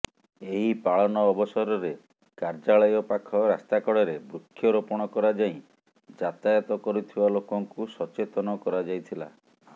ଏହି ପାଳନ ଅବସରରେ କାର୍ଯ୍ୟାଳୟ ପାଖ ରାସ୍ତାକଡରେ ବୃକ୍ଷରୋପଣ କରାଯାଇ ଯାତାୟତ କରୁଥିବା ଲୋକଙ୍କୁ ସଚେତନ କରାଯାଇଥିଲା